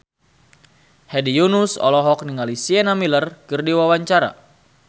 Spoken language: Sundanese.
Hedi Yunus olohok ningali Sienna Miller keur diwawancara